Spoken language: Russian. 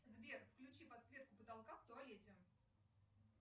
сбер включи подсветку потолка в туалете